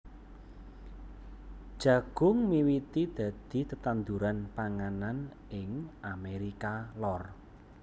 Jagung miwiti dadi tetanduran panganan ing Amérika Lor